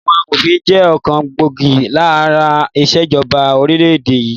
Àwọn amòfin jẹ́ ọ̀kan gbòógì lára ìṣèjọba orílẹ̀ èdè yìí